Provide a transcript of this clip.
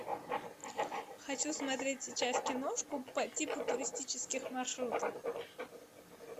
хочу смотреть сейчас киношку по типу туристических маршрутов